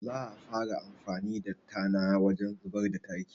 Za a fara amfani da tana wajen ruɓar da taki